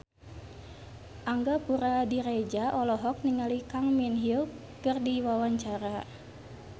Angga Puradiredja olohok ningali Kang Min Hyuk keur diwawancara